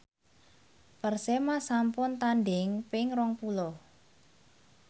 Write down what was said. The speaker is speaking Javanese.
Persema sampun tandhing ping rong puluh